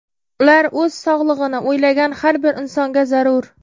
Ular o‘z sog‘lig‘ini o‘ylagan har bir insonga zarur.